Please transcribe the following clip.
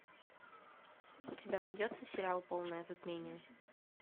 у тебя найдется сериал полное затмение